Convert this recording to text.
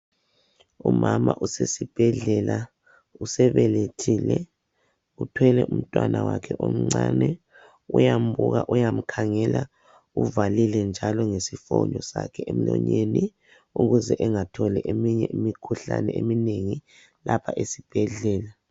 Umama usesibhedlela usebelethile uthwele umntwana wakhe omncane uyambuka uyamkhangela uvalile njalo ngesifonyo sakhe emionyeni ukuze angatholi eminye imikhuhlane eminengi lapha esibhedlela.